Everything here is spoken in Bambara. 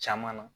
Caman na